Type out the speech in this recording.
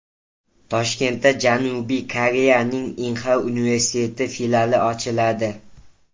Toshkentda Janubiy Koreyaning Inha universiteti filiali ochiladi.